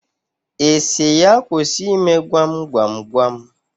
Ị sị ya kwụsị ime gwam gwam gwam?